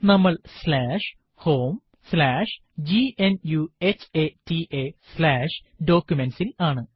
നമ്മൾ homegnuhataDocuments ൽ ആണ്